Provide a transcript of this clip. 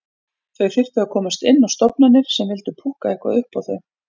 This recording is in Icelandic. Þau þyrftu að komast inn á stofnanir sem vildu púkka eitthvað upp á þau.